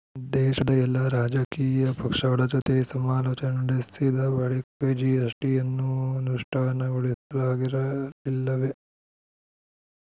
ದೇಶದ ಎಲ್ಲಾ ರಾಜಕೀಯ ಪಕ್ಷಗಳ ಜೊತೆ ಸಮಾಲೋಚನೆ ನಡೆಸಿದ ಬಳಿಕ ಜಿಎಸ್‌ಟಿಯನ್ನು ಅನುಷ್ಠಾನಗೊಳಿಸಲಾಗಿರಲಿಲ್ಲವೇ